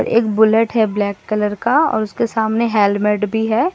एक बुलेट है black colour का और उसके सामने हेलमेट भी है।